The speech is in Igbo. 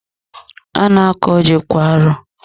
A na-akọ ji kwa arọ.